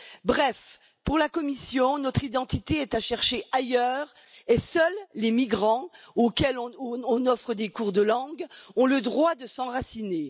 Bref, pour la Commission, notre identité est à chercher ailleurs et seuls les migrants, auxquels on offre des cours de langues, ont le droit de s'enraciner.